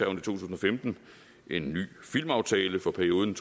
to tusind og femten en ny filmaftale for perioden